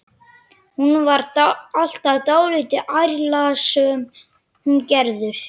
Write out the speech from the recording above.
Hún var alltaf dálítið ærslasöm, hún Gerður.